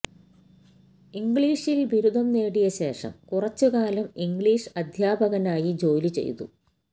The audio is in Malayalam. ഇംഗ്ളിഷില് ബിരുദം നേടിയ ശേഷം കുറച്ചുകാലം ഇംഗ്ളിഷ് അധ്യാപകനായി ജോലി ചെയ്തു